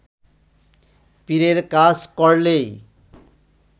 পীরের কাজ করলেই